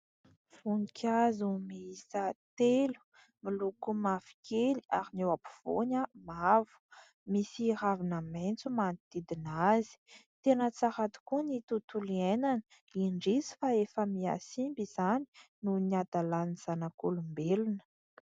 Voninkazo miisa telo miloko mavokely ary ny eo ampovoany mavo. Misy ravina maitso manodidina azy. Tena tsara rokoa ny tontolo iainana, indrisy fa efa mia simba izany noho ny adalan'ny zanak'olombelona.